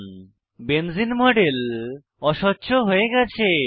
লক্ষ্য করুন যে বেঞ্জিন মডেল অস্বচ্ছ হয়ে গেছে